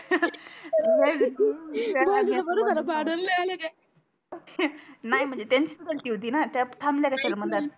त्या भाऊजीच बर जरा भांडून नाही आले काही नाही म्हणजे त्यांचीच गलती होती णा त्या थामल्या कशाला मधात